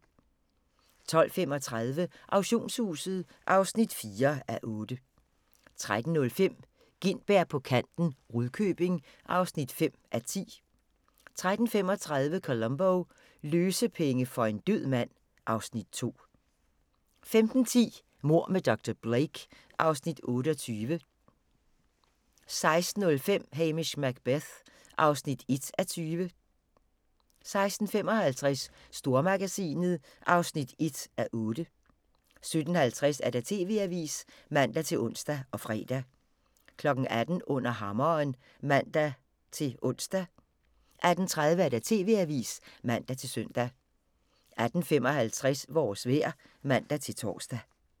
12:35: Auktionshuset (4:8) 13:05: Gintberg på kanten - Rudkøbing (5:10) 13:35: Columbo: Løsepenge for en død mand (Afs. 2) 15:10: Mord med dr. Blake (Afs. 28) 16:05: Hamish Macbeth (1:20) 16:55: Stormagasinet (1:8) 17:50: TV-avisen (man-ons og fre) 18:00: Under Hammeren (man-ons) 18:30: TV-avisen (man-søn) 18:55: Vores vejr (man-tor)